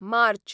मार्च